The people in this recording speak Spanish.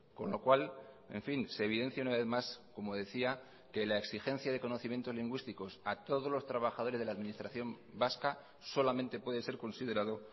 con lo cual en fin se evidencia una vez más como decía que la exigencia de conocimientos lingüísticos a todos los trabajadores de la administración vasca solamente puede ser considerado